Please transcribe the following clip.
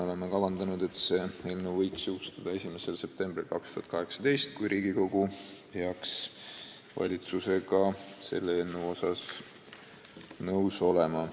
Oleme kavandanud, et see eelnõu võiks jõustuda 1. septembril 2018, kui Riigikogu peaks valitsusega nõus olema.